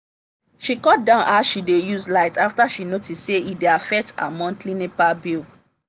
she cut down how she dey use light after she notice say e dey affect her monthly nepa bill.